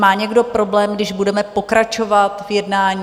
Má někdo problém, když budeme pokračovat v jednání?